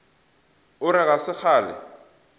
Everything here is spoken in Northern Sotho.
o re ga se kgale